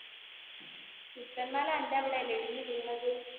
പുത്തൻമല അന്റെ അവിടെ അല്ലെ ഇടിഞ്ഞു വീണത്?